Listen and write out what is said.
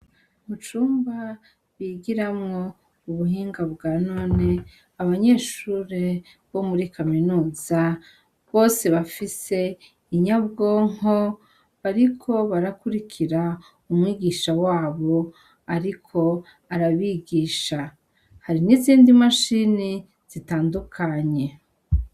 Mu cumba bigiramwo ubuhinga bwa none abanyeshure bo muri kaminuza bose bafise inyabwonko bariko barakurikira umwigisha wabo, ariko arabigisha hari n'izindi mashini zitandukanye.